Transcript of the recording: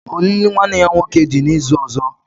Olili nwanne ya nwoke dị n'izu ọzọ